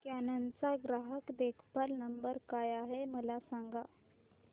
canon चा ग्राहक देखभाल नंबर काय आहे मला सांग